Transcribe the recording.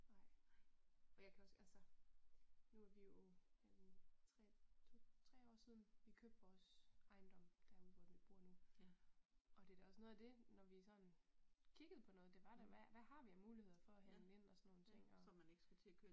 Nej, nej for jeg kan også altså nu er vi jo en tre to tre år siden vi købte vores ejendom derude, hvor vi bor nu og det da også noget af det når vi sådan kiggede på noget det var da hvad har vi af muligheder for at handle ind og sådan nogle ting